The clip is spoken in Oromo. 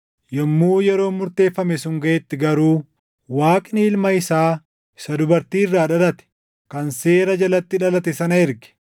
Yommuu yeroon murteeffame sun gaʼetti garuu Waaqni Ilma isaa isa dubartii irraa dhalate, kan seera jalatti dhalate sana erge;